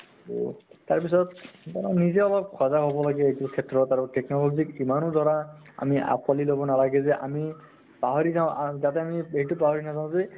তʼ তাৰ পিছত সেইকাৰণে নিজে অলপ সজাগ হʼব লাগে এইটো ক্ষেত্ৰত আৰু technology ক ইমানো ধৰা আমি আকোৱালী লʼব নালাগে যে আমি পাহৰি যাওঁ আ যাতে আমি এইটো পাহৰি নাজাও যে